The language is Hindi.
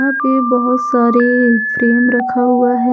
ये बहुत सारी फ्रेम रखा हुआ है।